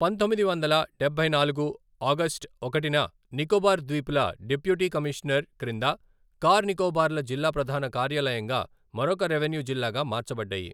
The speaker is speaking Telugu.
పంతొమ్మిది వందల డబ్బై నాలుగు ఆగస్ట్ ఒకటిన నికోబార్ ద్వీపుల డిప్యూటీ కమీషనర్ క్రింద కార్ నికోబార్లో జిల్లా ప్రధాన కార్యాలయంగా మరొక రెవెన్యూ జిల్లాగా మార్చబడ్డాయి.